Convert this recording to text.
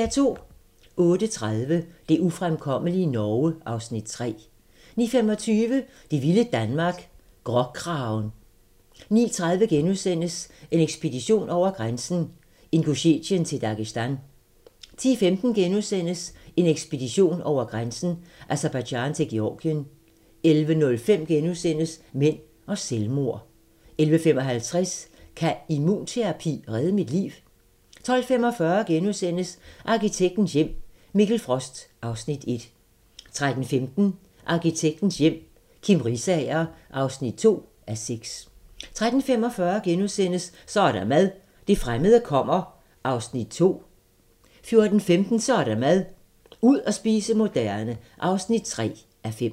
08:30: Det ufremkommelige Norge (Afs. 3) 09:25: Vilde vidunderlige Danmark - Gråkragen 09:30: En ekspedition over grænsen: Ingusjetien til Dagestan * 10:15: En ekspedition over grænsen: Aserbajdsjan til Georgien * 11:05: Mænd og selvmord * 11:55: Kan immunterapi redde mit liv? 12:45: Arkitektens hjem - Mikkel Frost (Afs. 1)* 13:15: Arkitektens hjem - Kim Risager (2:6) 13:45: Så er der mad - det fremmede kommer (2:5)* 14:15: Så er der mad - ud at spise moderne (3:5)